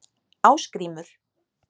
Ásgrímur